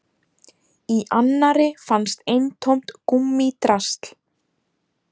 Í annarri fannst eintómt gúmmídrasl